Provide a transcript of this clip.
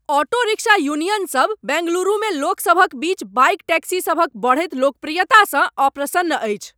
Auto rickshaw union सब बेंगलुरुमे लोकसभक बीच बाइक टैक्सीसभक बढ़ैत लोकप्रियतासँ अप्रसन्न अछि।